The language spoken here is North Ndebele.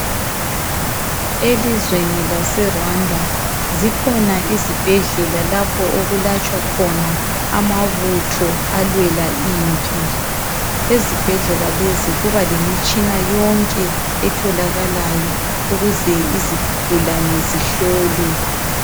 Elizweni lase Rwanda zikhona izibhedlela lalapho okulatshwa khona amabutho alwela impi. Ezibhedlela lezi kubalemitshina yonke etholakalayo ukuze izigulane zihlolwe.